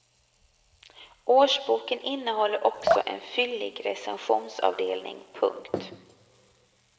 Årsboken innehåller också en fyllig recensionsavdelning. punkt